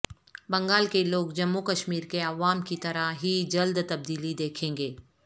بنگال کے لوگ جموںکشمیر کے عوام کی طرح ہی جلد تبدیلی دیکھیں گے